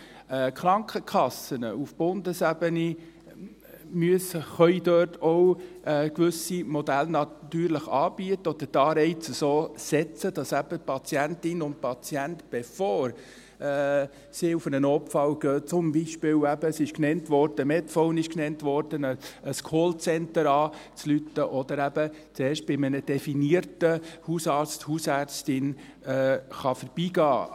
Die Krankenkassen müssen auf Bundesebene natürlich gewisse Modelle anbieten können oder die Anreize so setzen, dass Patientinnen und Patienten vor dem Besuch des Notfalls, zum Beispiel ein Callcenter – Medphone wurde genannt – anrufen oder eben bei einem definierten Hausarzt / einer Hausärztin vorbeigehen können.